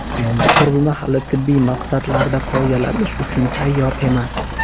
Yangi qurilma hali tibbiy maqsadlarda foydalanish uchun tayyor emas.